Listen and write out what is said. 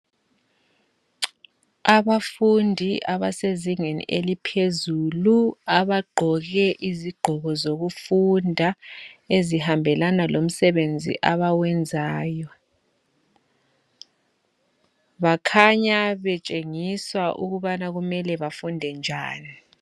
Abafundi abasezingeni eliphezulu abagqoke izigqoko zokufunda ezihambelana lomsebenzi abawenzayo, bakhanya betshengiswa ukubana kumele bafunde njani.